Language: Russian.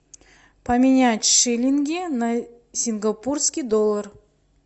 поменять шиллинги на сингапурский доллар